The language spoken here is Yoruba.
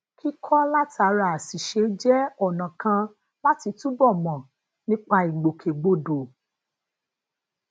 kíkọ látara àṣìṣe jẹ ona kan lati tubo mo nipa ìgbòkègbodò